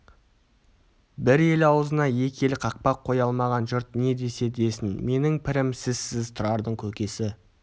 бір елі аузына екі елі қақпақ қоя алмаған жұрт не десе десін менің пірім сізсіз тұрардың көкесі